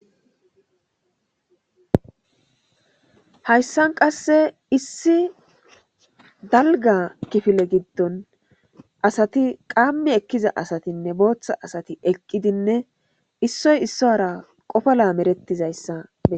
hayssan qasse issi dalga kifile giddon asati qaammi ekkiza asatinne booththa asati eqqidinne issoy issuwaara qofo lamerettizayssa.